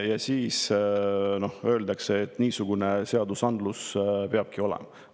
Ja siis öeldakse, et niisugune seadusandlus peabki olema.